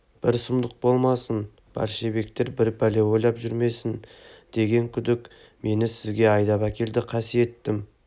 бір сұмдық болмасын большевиктер бір пәле ойлап жүрмесін деген күдік мені сізге айдап келді қасиеттім